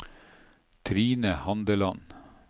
Trine Handeland